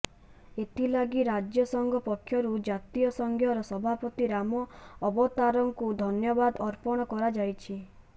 ଏଥିଲାଗି ରାଜ୍ୟ ସଂଘ ପକ୍ଷରୁ ଜାତୀୟ ସଂଘର ସଭାପତି ରାମ ଅବତାରଙ୍କୁ ଧନ୍ୟବାଦ ଅର୍ପଣ କରାଯାଇଛି